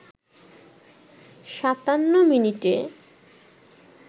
৫৭ মিনিটে